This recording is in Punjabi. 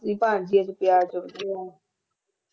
ਮਾਸੀ ਭਾਜਣੀ ਇਕ